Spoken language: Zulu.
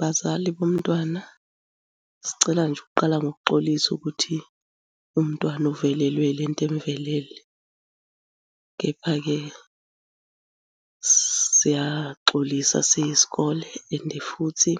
Bazali bomntwana, sicela nje ukuqala ngokuxolisa ukuthi umntwana uvelelwe ile nto emuvelele, kepha-ke siyaxolisa siyisikole and futhi